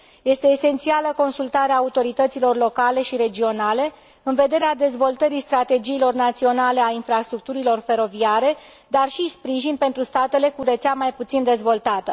Este esențială consultarea autorităților locale și regionale în vederea dezvoltării strategiilor naționale ale infrastructurilor feroviare, dar și acordarea de sprijin pentru statele cu rețea mai puțin dezvoltată.